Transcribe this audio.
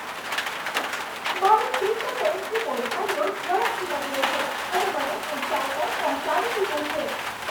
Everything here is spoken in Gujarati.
મારો ક્રિપ્ટોકરન્સી પોર્ટફોલિયો ઝડપથી વધ્યો છે અને મને ઉંચાઈ પર પહોંચાડી દીધો છે.